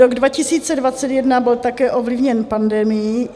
Rok 2021 byl také ovlivněn pandemií.